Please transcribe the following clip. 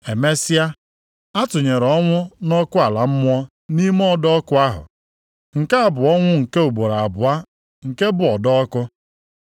Emesịa, a tụnyere ọnwụ na ọkụ ala mmụọ nʼime ọdọ ọkụ ahụ. Nke a bụ ọnwụ nke ugboro abụọ nke bụ ọdọ ọkụ.